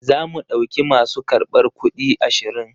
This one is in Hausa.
Zamu ɗauki masu karbar kuɗi ashirin.